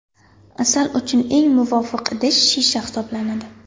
Asal uchun eng muvofiq idish shisha hisoblanadi.